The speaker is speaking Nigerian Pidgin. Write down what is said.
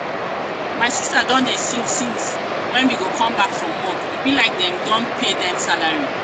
my sista don dey sing since wen she come back from work. e be like dem don pay dem salary.